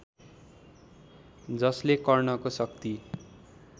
जसले कर्णको शक्ति